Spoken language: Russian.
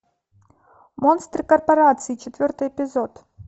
монстры корпорации четвертый эпизод